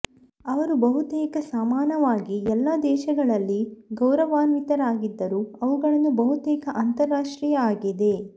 ಅವರು ಬಹುತೇಕ ಸಮಾನವಾಗಿ ಎಲ್ಲಾ ದೇಶಗಳಲ್ಲಿ ಗೌರವಾನ್ವಿತರಾಗಿದ್ದರು ಅವುಗಳನ್ನು ಬಹುತೇಕ ಅಂತಾರಾಷ್ಟ್ರೀಯ ಆಗಿದೆ